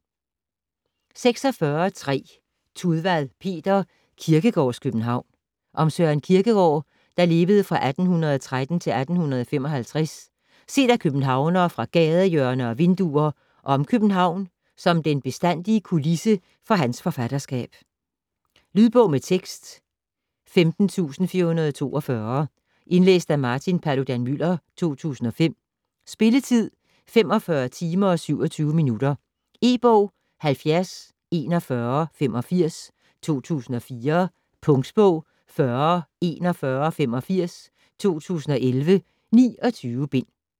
46.3 Tudvad, Peter: Kierkegårds København Om Søren Kierkegaard (1813-1855) set af københavnere fra gadehjørner og vinduer, og om København som den bestandige kulisse for hans forfatterskab. Lydbog med tekst 15442 Indlæst af Martin Paludan-Müller, 2005. Spilletid: 45 timer, 27 minutter. E-bog 704185 2004. Punktbog 404185 2011. 29 bind.